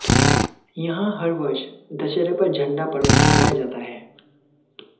यहां हर वर्ष दशहरे पर झंडा पर्व मनाया जाता है